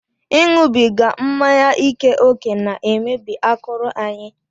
Ịṅụbiga mmanya ike ókè na-emebi akụrụ anyị